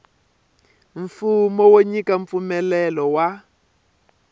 mfumo wo nyika mpfumelelo wa